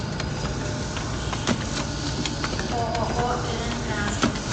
ооо рн транспорт